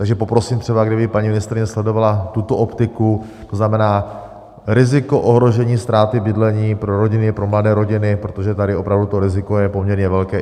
Takže poprosím třeba, kdyby paní ministryně sledovala tuto optiku, to znamená riziko ohrožení ztráty bydlení pro rodiny, pro mladé rodiny, protože tady opravdu to riziko je poměrně velké.